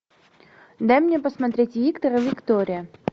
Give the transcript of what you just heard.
дай мне посмотреть виктор и виктория